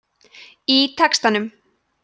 í textanum